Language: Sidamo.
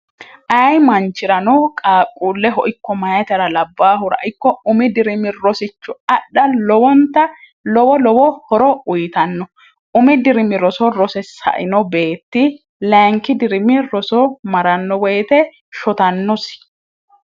ayi manchi'rano qaaqquulle ho ikko mayitra labbaahura ikko umi dirimi rosicho adha lowonta lowo lowo horo uyitanno umi dirimi roso rose saino beetti lainki dirimi roso maranno woyite shotannosi